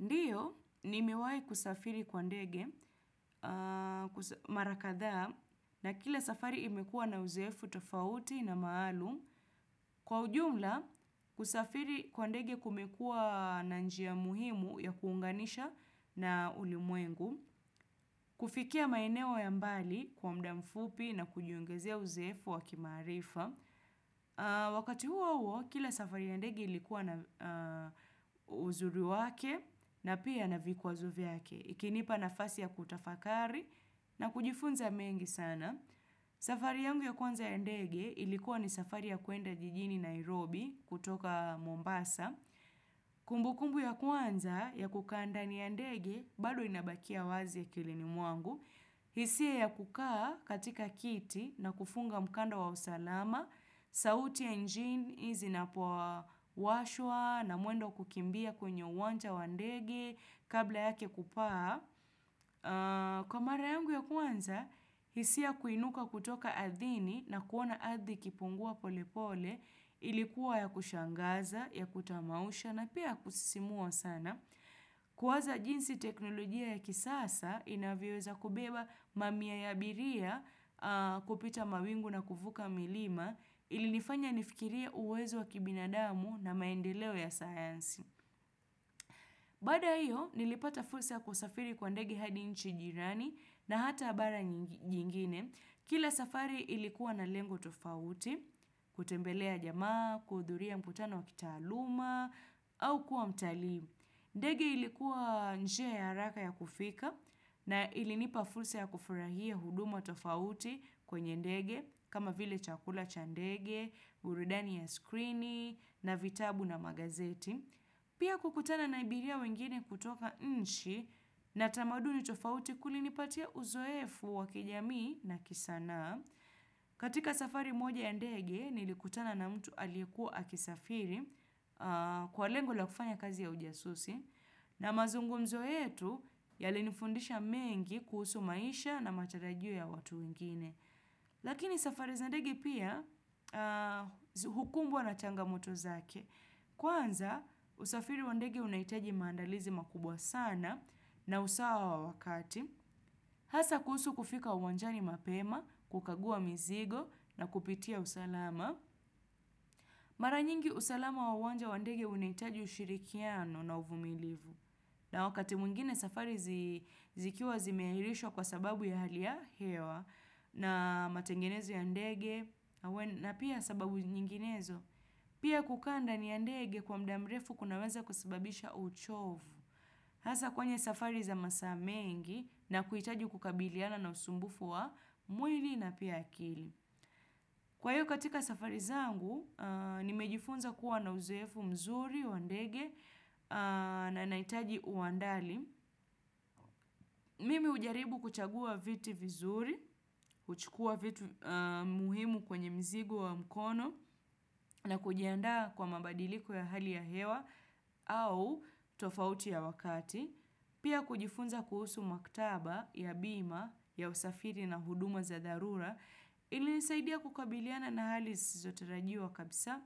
Ndio, nimewahi kusafiri kwa ndege mara kadha a na kila safari imekuwa na uzoefu tofauti na maalum. Kwa ujumla, kusafiri kwa ndege kumekuwa na njia muhimu ya kuunganisha na ulimwengu. Kufikia maeneo ya mbali kwa muda mfupi na kujiongezea uzoefu wa kimaarifa. Wakati huo huo, kila safari ya ndege ilikuwa na uzuri wake na pia na vikwazo vyake Ukinipa nafasi ya kutafakari na kujifunza mengi sana. Safari yangu ya kwanza ya ndege ilikuwa ni safari ya kuenda jijini Nairobi kutoka Mombasa. Kumbukumbu ya kwanza ya kukaa ndani ya ndege bado inabakia wazi akilini mwangu. Hisia ya kukaa katika kiti na kufunga mkanda wa usalama, sauti ya injini zinapo washwa na mwendo kukimbia kwenye uwanja wandege kabla yake kupaa. Kwa mara yangu ya kwanza, hisia kuinuka kutoka adhirini na kuona adhiri ikipungua pole pole ilikuwa ya kushangaza, ya kutamausha na pia kusisimua sana. Kuwaza jinsi teknolojia ya kisasa inavyoweza kubeba mamia ya abiria kupita mawingu na kufuka milima ilinifanya nifikiria uwezo wa kibinadamu na maendeleo ya sayansi. Bada ya hiyo nilipata fursa ya kusafiri kwa ndege hadi nchi jirani na hata bara nyingine. Kila safari ilikuwa na lengo tofauti, kutembelea jamaa, kuhudhuria mkutano wa kitaaluma au kuwa mtalii. Ndege ilikuwa njia ya haraka ya kufika na ilinipa fursa ya kufurahia huduma tofauti kwenye ndege kama vile chakula cha ndege, burudani ya skrini na vitabu na magazeti. Pia kukutana na abiria wengine kutoka nchi na tamaduni tofauti kulinipatia uzoefu wakijamii na kisana. Katika safari moja ndege nilikutana na mtu aliyekuwa akisafiri kwa lengo la kufanya kazi ya ujasusi na mazungumzo yetu yalinifundisha mengi kuhusu maisha na matarajio ya watu ingine lakini safari za ndege pia hukumbwa na changa mtu zake kwanza usafiri wa ndege unahitaji maandalizi makubwa sana na usawa wa wakati Hasa kuhusu kufika uwanjani mapema, kukagua mizigo na kupitia usalama. Mara nyingi usalama wa uwanja wa ndege unahitaji ushirikiano na uvumilivu. Na wakati mwingine safari zikiwa zimeahirishwa kwa sababu ya hali ya hewa na matengenezo ya ndege na pia sababu nyinginezo. Pia kukaa ndani ya ndege kwa muda mrefu kunaweza kusababisha uchovu. Hasa kwenye safari za masaa mengi na kuhitaji kukabiliana na usumbufu wa mwili na pia akili. Kwa hiyo katika safari zangu, nimejifunza kuwa na uzoefu mzuri, wa ndege na nahitaji uandali. Mimi hujaribu kuchagua viti vizuri, huchukua vitu muhimu kwenye mzigo wa mkono na kujianda kwa mabadiliko ya hali ya hewa au tofauti ya wakati. Pia kujifunza kuhusu maktaba ya bima ya usafiri na huduma za dharura ili nisaidia kukabiliana na hali zisizotarajiwa kabisa.